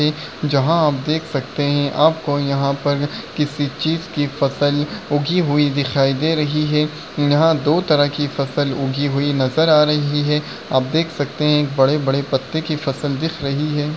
यहा आप देख सकते है आपको यहा पर किसी चीज़ की फसल उगी हुई दिखाई दे रही है यहा दो तरह की फसल हुगी हुई नज़र आ रही है आप देख सकते है बड़े-बड़े पत्ते की फ़सल दिख रही है।